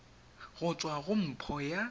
go tswa go nppo ya